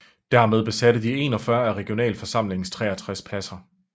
Dermed besatte de 41 af regionalforsamlingens 63 pladser